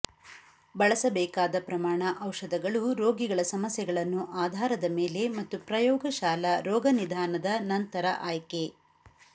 ಬಳಸಬೇಕಾದ ಪ್ರಮಾಣ ಔಷಧಗಳು ರೋಗಿಗಳ ಸಮಸ್ಯೆಗಳನ್ನು ಆಧಾರದ ಮೇಲೆ ಮತ್ತು ಪ್ರಯೋಗಶಾಲಾ ರೋಗನಿದಾನದ ನಂತರ ಆಯ್ಕೆ